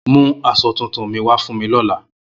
Mu aso tuntun mi wa fun mi lola